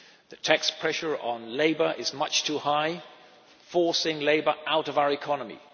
The tax pressure on labour is much too high, forcing labour out of our economy.